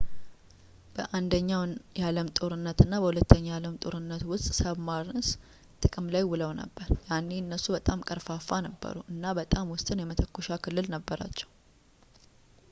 በአንደኛው የዓለም ጦርነት እና በሁለተኛው የዓለም ጦርነት ውስጥ ሳብማርንስ ጥቅም ላይ ውለው ነበር ያኔ እነሱ በጣም ቀርፋፋ ነበሩ እና በጣም ውስን የመተኮሻ ክልል ነበራቸው